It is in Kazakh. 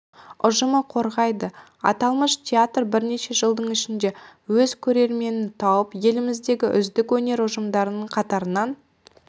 ұжымы қорғайды аталмыш театр бірнеше жылдың ішінде өз көрерменін тауып еліміздегі үздік өнер ұжымдарының қатарынан